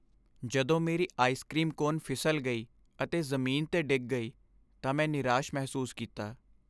ਜਦੋਂ ਮੇਰੀ ice cream cone ਫਿਸਲ ਗਈ ਅਤੇ ਜ਼ਮੀਨ 'ਤੇ ਡਿੱਗ ਗਈ ਤਾਂ ਮੈਂ ਨਿਰਾਸ਼ ਮਹਿਸੂਸ ਕੀਤਾ।